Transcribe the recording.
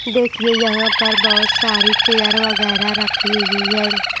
देखिए यहां पर बहुत सारी चेयर वगैरह रखी हुई है।